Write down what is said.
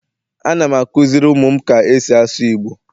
Anam akuziri umum ka esi asu igbo